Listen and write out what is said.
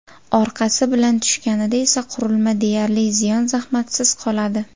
Orqasi bilan tushganida esa qurilma deyarli ziyon-zahmatsiz qoladi.